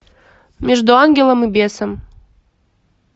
между ангелом и бесом